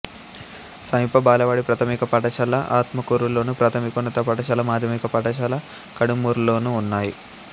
సమీప బాలబడి ప్రాథమిక పాఠశాల ఆత్మకూరులోను ప్రాథమికోన్నత పాఠశాల మాధ్యమిక పాఠశాల కడుమూర్లోనూ ఉన్నాయి